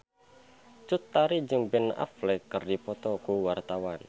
Cut Tari jeung Ben Affleck keur dipoto ku wartawan